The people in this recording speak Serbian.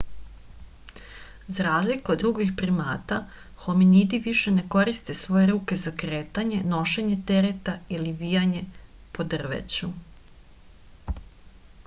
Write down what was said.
za razliku od drugih primata hominidi više ne koriste svoje ruke za kretanje nošenje tereta ili vijanje po drveću